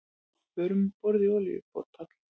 Fóru um borð í olíuborpall